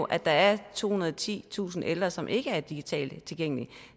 at der er tohundrede og titusind ældre som ikke er digitalt tilgængelige